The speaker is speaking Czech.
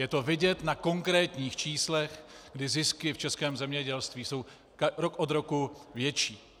Je to vidět na konkrétních číslech, kdy zisky v českém zemědělství jsou rok od roku větší.